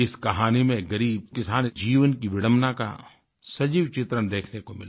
इस कहानी में एक ग़रीब किसान जीवन की विडंबना का सजीव चित्रण देखने को मिला